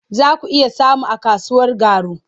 Za ku iya samu a kasuwar Garu.